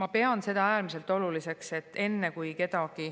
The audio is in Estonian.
Ma pean seda äärmiselt oluliseks, et enne kui kedagi